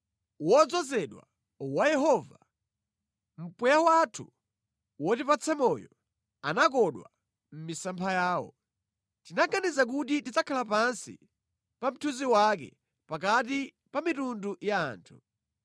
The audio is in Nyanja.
Wodzozedwa wa Yehova, mpweya wathu wotipatsa moyo, anakodwa mʼmisampha yawo. Tinaganiza kuti tidzakhala pansi pa mthunzi wake pakati pa mitundu ya anthu.